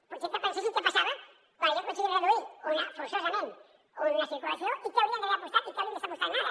potser que pensessin què passava quan jo he aconseguit reduir forçosament una circulació i què hauríem d’haver apostat i què hauríem d’estar apostant ara